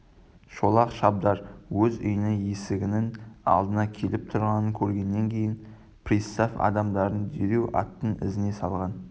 шолақ шабдар өз үйінің есігінің алдына келіп тұрғанын көргеннен кейін пристав адамдарын дереу аттың ізіне салған